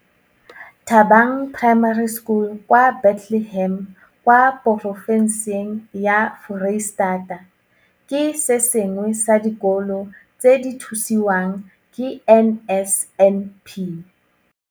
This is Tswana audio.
Thabang Primary School kwa Bethlehem, kwa porofe nseng ya Foreistata, ke se sengwe sa dikolo tse di thusiwang ke NSNP.